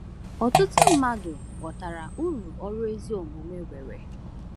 Ọtụtụ mmadụ ghọtara uru ọrụ ezi omume nwere.